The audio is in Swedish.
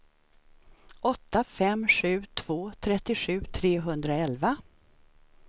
åtta fem sju två trettiosju trehundraelva